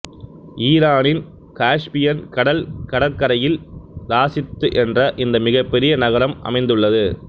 ஈரானின் காஸ்பியன் கடல் கடற்கரையில்இராசித்து என்ற இந்த மிகப்பெரிய நகரம் அமைந்நுள்ளது